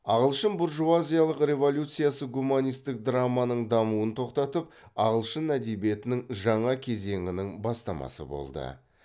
ағылшын буржуазиялық революциясы гуманистік драманың дамуын тоқтатып ағылшын әдебиетінің жаңа кезеңінің бастамасы болды